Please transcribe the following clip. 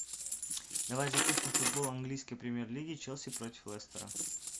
давай запустим футбол английской премьер лиги челси против лестера